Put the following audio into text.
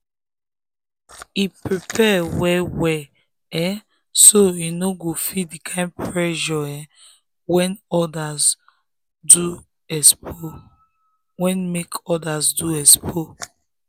um e prepare well well um so e no go feel the kind pressure um wey make others do expo.